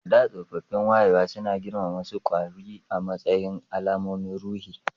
A da, tsoffin wayewa suna girmama wasu kwari a matsayin alamomin ruhi